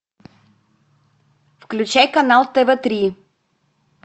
включай канал тв три